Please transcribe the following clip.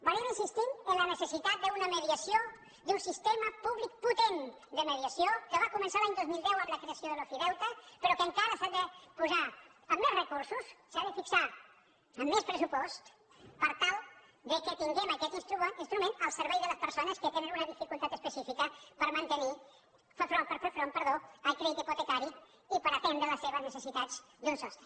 hem estat insistint en la necessitat d’una mediació d’un sistema públic potent de mediació que va començar l’any dos mil deu amb la creació de l’ofideute però que encara s’ha de posar amb més recursos s’ha de fixar amb més pressupost per tal que tinguem aquest instrument al servei de les persones que tenen una dificultat específica per fer front al crèdit hipotecari i per atendre les seves necessitats d’un sostre